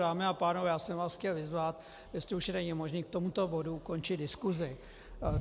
Dámy a pánové, já jsem vás chtěl vyzvat, jestli už není možné k tomuto bodu ukončit diskusi.